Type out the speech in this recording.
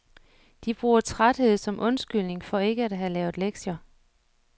De bruger træthed som undskyldning for ikke at have lavet lektier.